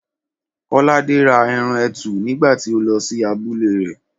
Kọ́ládé ra ẹran etu nígbà tí ó lọ sí abúlé rẹ̀